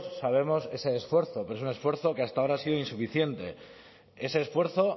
sabemos ese esfuerzo pero es un esfuerzo que hasta ahora ha sido insuficiente ese esfuerzo